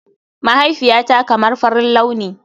Mahaifiyata kamar farin launi.